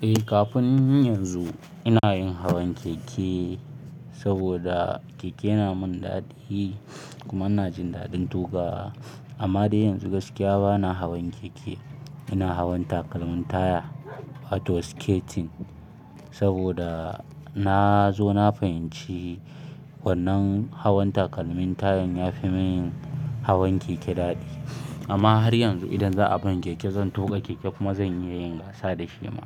Eh, kafin yanzu ina yin hawan keke saboda keke yana min daɗi kuma ina jin daɗin tuƙawa. Amma dai yanzu gaskiya bana hawan keke, ina hawan takalmin taya wato skating saboda na zo na fahimci wannan hawan takalmin tayan ya fi mun hawan keke daɗi. Amma har yanzu idan za a bani keke zan tuƙa keke kuma zan iya yin gasa da shi ma.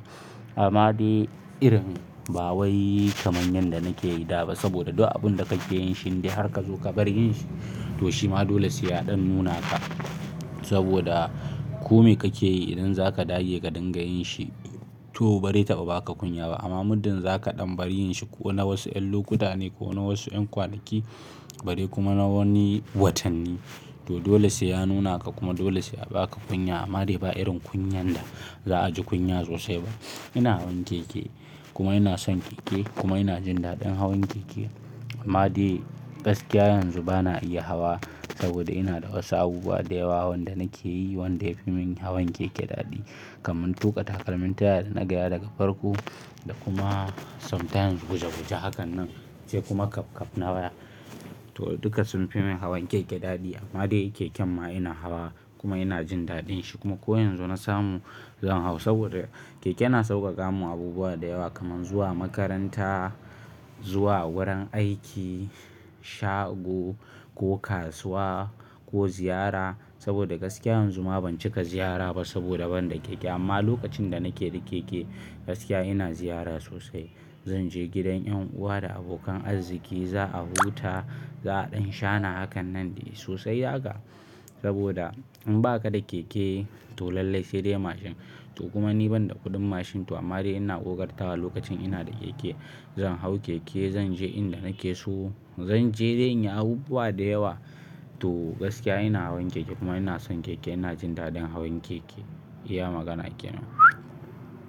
Amma dai irin ba wai kamar yanda nake yi da ba saboda duk abun da kake yin shi har ka zo ka bar yin shi to shima dole sai ya ɗan nuna haka saboda kome kake yi idan zaka dage ka dinga yin shi to bari taba baka kunya ba. Amma muddin zaka ɗan bari yin shi ko na wasu ƴan lokuta ne ko na wasu ƴan kwanaki bare kuma na wani watanni to dole sai ya nuna ka kuma dole sai a baka kunya. Amma dai ba irin kunyan da za a ji kunya sosai ba. Ina hawan keke kuma ina son keke kuma ina jin daɗin hawan keke. Amma dai gaskiya yanzu bana iya hawa saboda ina da wasu abubuwa da yawa wanda nake yi wanda ya fi mun hawan keke daɗi kamar tuƙa takalmin taya da na gaya daga farko da kuma sometimes guje-guje hakan nan sai kuma kaf-kaf na waya. To dukka sun fi mun hawan keke daɗi amma dai keken ma ina hawa kuma ina jin daɗin shi kuma ko yanzu na samu zan hau saboda keke na sauƙaƙa mun abubuwa da yawa kamar zuwa makaranta, zuwa wurin aiki, shago ko kasuwa ko ziyara saboda gaskiya yanzu ma ban cika ziyara ba saboda ban da keke. Amma lokacin da nake da keke gaskiya ina ziyara sosai. Zan je gidan ƴan uwa da abokan arziki, za a huta, za a ɗan shana hakan nan dai sosai haka saboda in baka da keke to lallai sai dai mashin to kuma ni ban da kuɗin mashin to amma dai ina ƙoƙartawa lokacin ina da keke. Zan hau keke, zan je inda nake so, zan je dai in yi abubuwa da yawa to gaskiya ina hawan keke kuma ina son keke, ina jin daɗin hawan keke. Iya magana kenan.